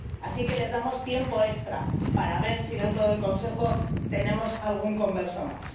así que les damos tiempo extra para ver si dentro del Consejo tenemos algún converso más.